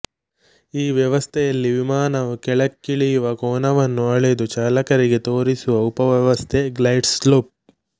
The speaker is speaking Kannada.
ಈ ವ್ಯವಸ್ಥೆಯಲ್ಲಿ ವಿಮಾನವು ಕೆಳಕ್ಕಿಳಿಯುವ ಕೋನವನ್ನು ಅಳೆದು ಚಾಲಕರಿಗೆ ತೋರಿಸುವ ಉಪವ್ಯವಸ್ಥೆ ಗ್ಲೈಡ್ ಸ್ಲೋಪ್